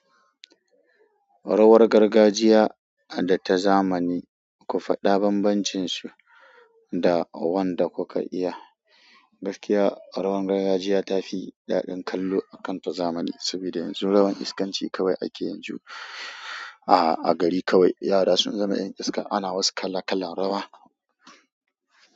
Rawar gargajiya da ta zamani, ku faɗa bambancinsu da wanda kuka iya. Gaskiya rawar gargajiya ta fi daɗin kallo a kan ta zamani, saboda yanzu rawar iskanci kawai ake yanzu. A-a gari kawai yara sun zama 'yan iska, ana wasu kala kalan rawa.